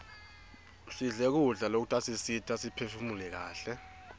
sidle kudla lokutasisita siphefumule kaihle